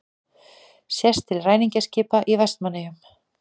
Sést til ræningjaskipa í Vestmannaeyjum.